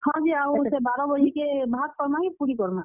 ହଁ ଯେ ସେ ବାର ବଜେକେ ଭାତ୍ କର୍ ମା କି ପୁରି କର୍ ମା?